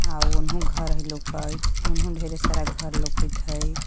आर ओनहु हइ घर लौकत ओनहु ढेरे सारा लौकत हइ।